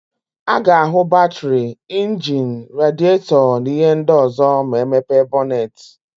A ga-áhụ̀ batịrị, injini, radietọ na íhé ndị ọ̀zọ́ ma e mepe bọnetị.